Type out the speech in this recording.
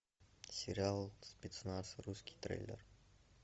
сериал спецназ русский трейлер